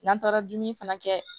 N'an taara dumuni fana kɛ